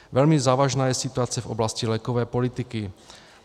Velmi závažná je situace v oblasti lékové politiky.